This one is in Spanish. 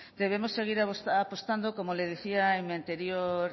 debemos seguir apostando como le decía en mi anterior